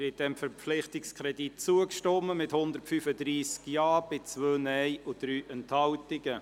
Sie haben dem Verpflichtungskredit zugestimmt, mit 135 Ja- zu 2 Nein-Stimmen bei 3 Enthaltungen.